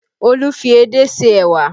Olu fi edé se ẹwà